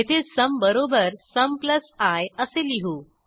येथे सुम बरोबर sum plus I असे लिहू